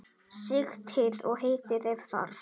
Sigtið og hitið ef þarf.